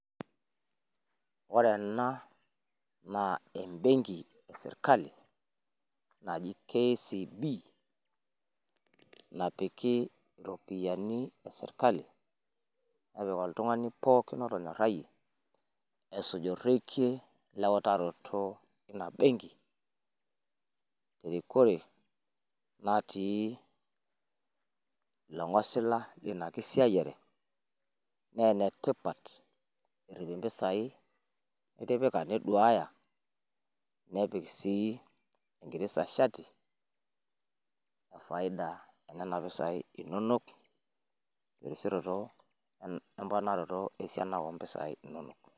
Ore ena naa ebenki e sirkali naji KCB naapiki ropiani e sirkali neepiki oltung'ani pooki letonyoraye. Eisujurokie leutaroto ena benki. Reikore natii leng'osila enia kisaiyare .Nee netipaat eripii mpisai nitipika neduaya nepiik sii enkirisa shaati e faida ena mpisai enonok erishoroto emparanotoo esha naeyu empisai enonok.